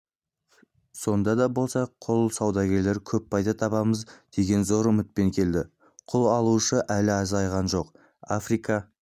сонда да болса құл саудагерлері көп пайда табамыз деген зор үмітпен келді құл алушылар әлі азайған жоқ африка